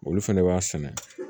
Olu fɛnɛ b'a sɛnɛ